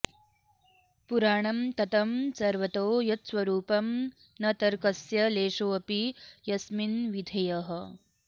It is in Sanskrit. पुराणं ततं सर्वतो यत्स्वरूपं न तर्कस्य लेशोऽपि यस्मिन्विधेयः